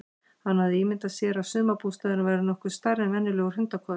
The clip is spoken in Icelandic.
Hann hafði ímyndað sér að sumarbústaðurinn væri nokkuð stærri en venjulegur hundakofi.